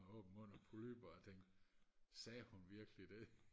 med åben mund og polypper og tænkte sagde hun virkelig det